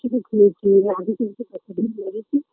সে তো ঘুরেছি আগের দিন তো পয়সাকড়ি ফেলে গেছি